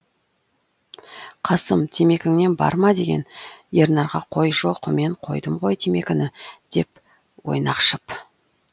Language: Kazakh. қасым темекіңнен бар ма деген ернарға қой жоқ мен қойдым ғой темекіні деп ойнақшып